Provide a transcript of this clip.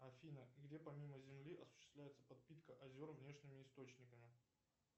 афина где помимо земли осуществляется подпитка озер внешними источниками